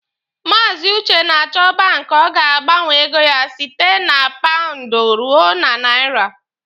Maazi Uche na-achọ banki ọ ga-agbanwe ego ya site na paụndụ ruo na naira.